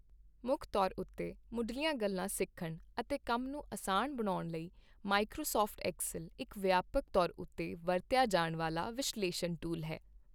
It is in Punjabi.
ਮੁੱਖ ਤੌਰ ਉੱਤੇ ਮੁੱਢਲੀਆਂ ਗੱਲਾਂ ਸਿੱਖਣ ਅਤੇ ਕੰਮ ਨੂੰ ਅਸਾਨ ਬਣਾਉਣ ਲਈ, ਮਾਈਕ੍ਰੋਸਾੱਫਟ ਐਕਸਲ ਇੱਕ ਵਿਆਪਕ ਤੌਰ ਉੱਤੇ ਵਰਤਿਆ ਜਾਣ ਵਾਲਾ ਵਿਸ਼ਲੇਸ਼ਣ ਟੂਲ ਹੈ।